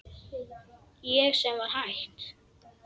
Ég sem var hætt.